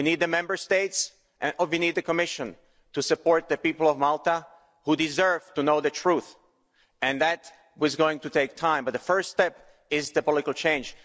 We need the Member States and we need the Commission to support the people of Malta, who deserve to know the truth. And that is going to take time, but the first step is political change.